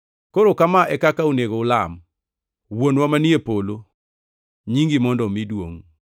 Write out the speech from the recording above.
“Koro kama e kaka onego ulam: “ ‘Wuonwa manie polo, nyingi mondo omi duongʼ,